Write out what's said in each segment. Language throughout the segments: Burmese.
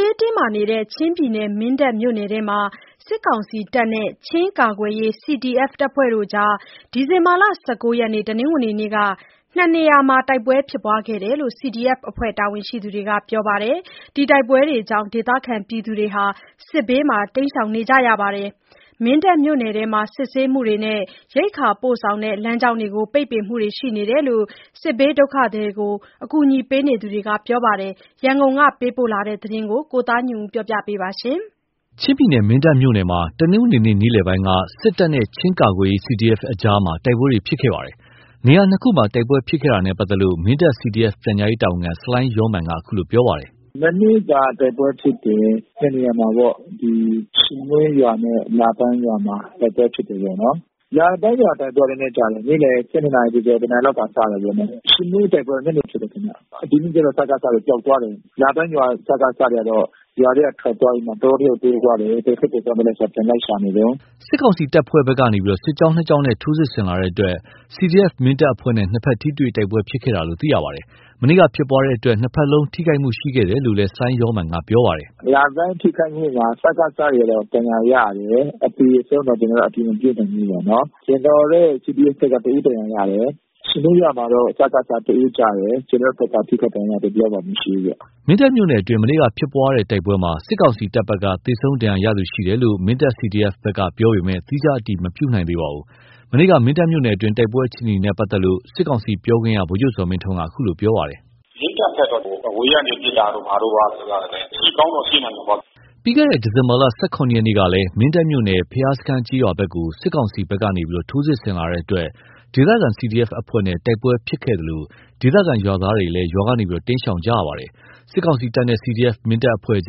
ေးတင်းမာနေတဲ့ ချင်းပြည်နယ် မင်းတပ်မြို့နယ်မှာ စစ်ကောင်စီနဲ့ ချင်းကာကွယ်ရေး CDF အဖွဲ့တို့ ဒီဇင်ဘာ ၁၉ ရက် တနင်္ဂနွေနေ့က ၂ နေရာ တိုက်ပွဲဖြစ်ပွါးခဲ့တယ်လို့ CDF အဖွဲ့တာဝန်ရှိသူတွေက ပြောပါတယ်။ တိုက်ပွဲတွေကြောင့်ဒေသခံတွေ စစ်ဘေး ရှောင်တိမ်းနေကြရပါတယ်။ မင်းတပ်မြို့နယ်ထဲမှာ စစ်ဆေးမှုတွေ၊ ရိက္ခာပို့ဆောင်တဲ့ လမ်းကြောင်းပိတ်ပင်မှုတွေရှိနေ တယ်လို့ စစ်ဘေးဒုက္ခသည်တွေကို အကူအညီပေးနေသူတွေက ပြောပါတယ်။ ရန်ကုန်ကပေးပို့တဲ့ သတင်းကို ကိုသားညွန့်ဦးက တင်ပြပေးထားပါတယ်။ ချင်းပြည်နယ်မင်းတပ်မြို့နယ်မှာ တနင်္ဂနွေနေ့ နေ့လယ်ပိုင်းက စစ်တပ်နဲ့ ချင်းကာကွယ်ရေး CDF အဖွဲ့တို့ကြား တိုက်ပွဲတွေဖြစ်ခဲ့ပါတယ်။ နေရာ ၂ ခုမှာ တိုက်ပွဲဖြစ်ခဲ့တာနဲ့ပတ်သက်လို့ မင်းတပ် CDF ပြန်ကြားရေးတာဝန်ခံ ဆလိုင်းယောမာန်က ခုလိုပြောပါတယ်။ “မနေ့ကတိုက်ပွဲဖြစ်တယ်။ နှစ်နေရာမှာပေါ့။ ဒီ ရှစ်မွှေးရွာနဲ့လာပန်းရွာမှာ တိုက်ပွဲဖြစ် တာပေါ့နော်။ လာပန်းရွာမှာကျတော့ နေ့လယ် နာရီကျော်ကျော် နာရီလောက်မှာစတာပေါ့နော်။ ရှစ်မွေးတိုက်ပွဲ ညနေဖြစ်တာပေါ့နော်။ လာပန်းရွာ စကစတွေကတော့ ရွာထဲကနေထွက်သွားပြီးတော့ တောထဲကို ပြေးသွားတယ်ပေါ့။ ဘယ်ဘက်ကိုသွားသလဲဆို ပြန်လိုက် ရှာနေတုန်း။" စစ်ကောင်စီတပ်ဖွဲ့ဘက်ကနေ စစ်ကြောင်း ကြောင်းနဲ့ ထိုးစစ်ဆင်လာတဲ့အတွက် CDF မင်းတပ်အဖွဲ့နဲ့ နှစ်ဘက်ထိတွေ့ တိုက်ပွဲဖြစ်ပွါးခဲ့တာပါ။ မနေ့က ဖြစ်ပွါးတဲ့ တိုက်ပွဲတွေအတွင်းနှစ်ဘက်လုံး ထိခိုက်မှုရှိခဲ့တယ်လို့ ဆလိုင်းယောမာန်ကပြောပါတယ်။ “လာပန်းထိခိုက်မှုက စကစတွေ ဒဏ်ရာရတယ်။ အသေအဆုံးတော့ကျနော်တို့ အတည်မပြုနိုင်ဘူးပေါ့နော်။ CDF ကတော့ တဦးဒဏ်ရာရတယ်။ ရှစ်မွေးရွာမှာတော့ စကစ တဦးကျတယ်။ ကျနော်တို့ဘက်က ထိခိုက်ဒဏ်ရာရ သူတဦးတယောက်မှမရှိဘူး။" မင်းတပ်မြို့နယ်အတွင်း မနေ့က ဖြစ်ပွါးတဲ့တိုက်ပွဲမှာ စစ်ကောင်စီတပ်ဘက်က သေဆုံးဒဏ်ရာရသူရှိတယ်လို့ မင်းတပ် CDF ဘက်ကပြောပေမယ့် သီးခြား အတည် မပြုနိုင်သေးပါဘူး။ မနေ့က မင်းတပ်မြို့နယ်အတွင်းတိုက်ပွဲအခြေအနေနဲ့ပက်သက် လို့ စစ်ကောင်စီပြောခွင့်ရ ဗိုလ်ချုပ်ဇော်မင်းထွန်းက အခုလိုပြောပါတယ်။ “မင်းတပ်ဘက်တော့ အဝေးကပစ်တာတို့ဘာတို့ကတော့ ရှိကောင်းတော့ရှိနိုင်တာပေါ့။" ပြီးခဲ့တဲ့ဒီဇင်ဘာ ရက်နေ့ကလည်း မင်းတပ်မြို့နယ် ဘုရားစခန်းကျေးရွာဘက် ကို စစ်ကောင်စီဘက်က ထိုးစစ်ဆင်လာတဲ့အတွက် ဒေသခံ CDF အဖွဲ့နဲ့ တိုက်ပွဲဖြစ် ပွါးခဲ့သလို ဒေသခံရွာသားတွေလည်း ရွာကနေတိမ်းရှောင်နေကြရပါတယ်။ စစ်ကောင်စီတပ်နဲ့ CDF မင်းတပ်အဖွဲ့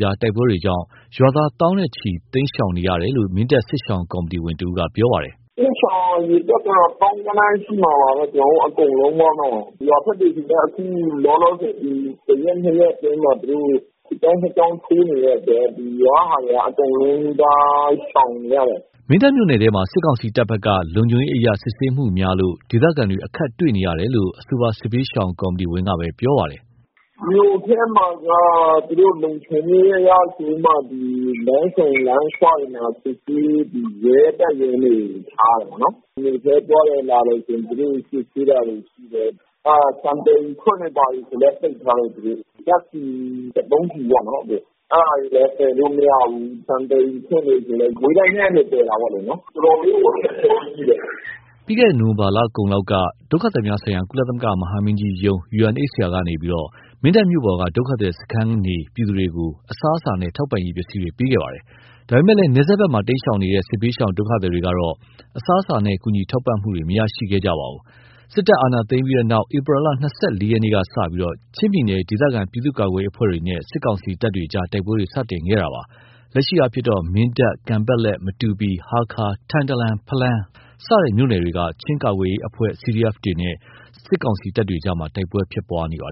တို့ကြားတိုက်ပွဲကြောင့် ရွာသားသောင်းချီ တိမ်းရှောင် နေကြရတယ်လို့ မင်းတပ်စစ်ရှောင်ကော်မီတီဝင်တဦးကပြောပါတယ်။ “တိမ်းရှောင်အရေအတွက်တော့ သောင်းဂဏန်း ရှိမှာပါပဲ။ ကျနော်တို့အကုန်လုံးပေါ့နော်။ ရွာဘက်တွေဆီက အခု လောလောဆယ် ဒီတရက် နှစ်ရက်အတွင်းမှာ သူတို့ စစ်ကြောင်းနှစ်ကြောင်းထိုးနေတဲ့အတွက် ရွာကဟာတွေ အကုန်လုံးက တိမ်းရှောင်နေရတယ်။" မင်းတပ်မြို့နယ်ထဲမှာ စစ်ကောင်စီတပ်ဘက်က လုံခြုံရေးအရ စီစစ်မှုများလို့ ဒေသခံတွေ အခက်တွေ့နေတယ်လို့ အဆိုပါ စစ်ဘေးရှောင် ကော်မီတီဝင်ကပဲ ဆက်ပြောပါတယ်။ “မြို့ထဲမှာက လုံခြုံရေးအရဆိုပြီးမှလမ်းဆုံလမ်းခွတွေမှာ စစ်ဆေး ရဲတပ်ရင်းတွေထားတယ်ပေါ့နော်။ မြို့ထဲသွား တယ်လာတယ်ဆိုရင် သူတို့စစ်ဆေးတာတွေရှိတယ်။ နောက် ဆန်သယ်ယူခွင့်တွေဘာတွေဆိုလည်း ပိတ်ထားလိုက်ပြီ။ နောက် ဒီ စက်သုံးဆီပေါ့နော် ။ အဲဒါတွေလည်း သယ်လို့မရဘူး။ ဆန်သယ်ယူခွင့်ဆိုတာကလည်း မကွေးတိုင်းထဲက သယ်တာပေါ့လေ။ တော်တော်လေးကို အခက်ခဲရှိတယ်။" ပြီးခဲ့တဲ့ နိုဝင်ဘာလကုန်လောက်က ကုလသမဂ္ဂ ဒုက္ခသည်များဆိုင်ရာ မဟာမင်းကြီးရုံး ကနေ မင်းတပ်မြို့ပေါ်က ဒုက္ခသည်စခန်းနေ ပြည်သူတွေကို အစားအစာနဲ့ ထောက်ပံ့ရေးပစ္စည်းတွေ ပေးအပ်ခဲ့ပါတယ်။ ဒါပေမယ့် နယ်စပ် ဘက်မှာ တိမ်းရှောင်နေတဲ့ စစ်ဘေးရှောင်ဒုက္ခသည်တွေကတော့ အစားအစာနဲ့ ကူညီထောက်ပံ့မှုတွေမရရှိခဲ့ကြပါဘူး။ စစ်တပ်အာဏာသိမ်းခဲ့ပြီးနောက် ဧပြီလ ၂၄ ရက်နေ့ကစပြီး ချင်းပြည်နယ် ဒေသခံပြည်သူ့ကာကွယ်ရေးအဖွဲ့တွေနဲ့ စစ်ကောင်စီတပ်တွေ တိုက်ပွဲတွေ စတင်ခဲ့ပါတယ်။ လက်ရှိမှာ မင်းတပ်၊ ကန်ပက်လက်၊ မတူပီ၊ ဟားခါး၊ ထန်တလန်၊ ဖလမ်း စတဲ့မြို့ နယ်တွေက ချင်းကာကွယ်ရေးအဖွဲ့ CDF အဖွဲ့တွေနဲ့ စစ်ကောင်စီတပ်တွေကြား တိုက် ပွဲတွေဖြစ်နေပွားပါတယ်